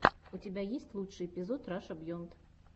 у тебя есть лучший эпизод раша биенд